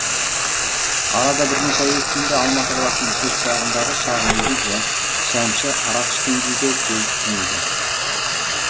арада бірнеше ай өткенде алматы қаласының шет жағындағы шағын үйде шәмші арақ ішкен күйде келіп түнейді